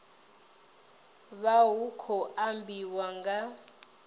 vha hu khou ambiwa nga